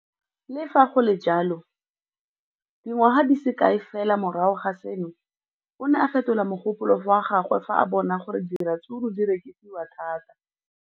Le fa go le jalo, dingwaga di se kae fela morago ga seno, o ne a fetola mogopolo wa gagwe fa a bona gore diratsuru di rekisiwa thata.